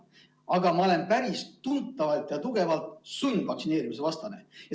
Aga ma olen päris tugevalt sundvaktsineerimise vastu.